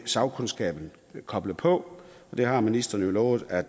sagkundskaben koblet på og det har ministeren jo lovet at